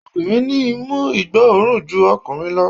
Obìnrin ní imú ìgbó òórùn ju ọkùnrin lọ